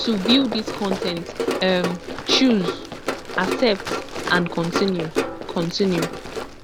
to view dis con ten t um choose accept and continue continue